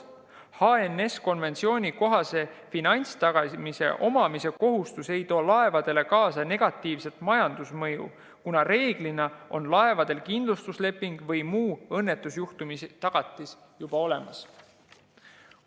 HNS‑konventsiooni kohase finantstagatise omamise kohustus ei too laevadele kaasa negatiivset majandusmõju, kuna reeglina on laevadel kindlustusleping või muu õnnetusjuhtumitagatis juba olemas.